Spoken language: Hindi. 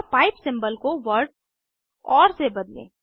और पाइप सिंबल को वर्ड ओर से बदलें